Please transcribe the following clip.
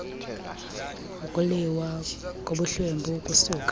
ukuliwa kobuhlwempu kusuka